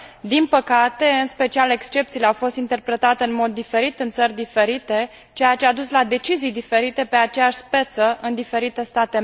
Din păcate, în special excepțiile au fost interpretate în mod diferit în țări diferite, ceea ce a dus la decizii diferite pe aceeași speță în diferite state membre.